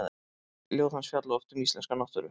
Ljóð hans fjalla oft um íslenska náttúru.